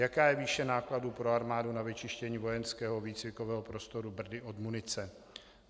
Jaká je výše nákladů pro armádu na vyčištění vojenského výcvikového prostoru Brdy od munice?